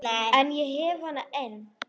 En ég hef hana enn.